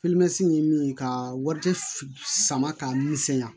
ye min ye ka wari sama ka misɛnya